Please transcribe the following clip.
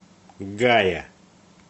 гая